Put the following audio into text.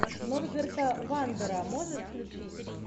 норберта вандера можешь включить